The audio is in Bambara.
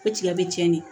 Ko tigɛ bɛ cɛn ne